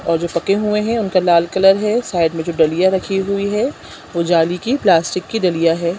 और जो पके हुए है उनका लाल कलर है साइड में जो डलियाँ रखी हुई है वो जाली की प्लास्टिक की डलियाँ हैं।